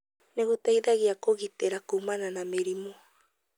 nĩ gũteithagia kũgitĩra kũmana na mĩrimũ.